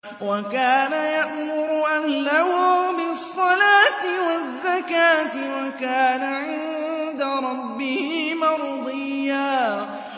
وَكَانَ يَأْمُرُ أَهْلَهُ بِالصَّلَاةِ وَالزَّكَاةِ وَكَانَ عِندَ رَبِّهِ مَرْضِيًّا